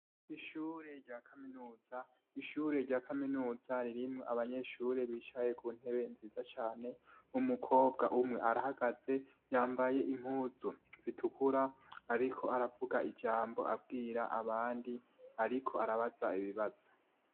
Ishure rya kaminuza ririmwo abanyeshure bicaye kuntebe nziza cane, umukobwa umwe arahagaze yambaye impuzu zitukura ariko aravuga ijambo abwira abandi, ariko arabaza ibibazo.